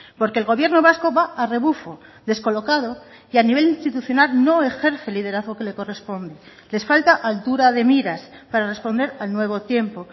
porque el gobierno vasco va a rebufo descolocado y a nivel institucional no ejerce el liderazgo que le corresponde les falta altura de miras para responder al nuevo tiempo